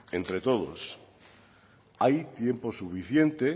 entre todos hay tiempo suficiente